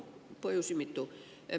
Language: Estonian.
Põhjusi on mitu.